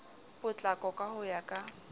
potlako ka ho ya ka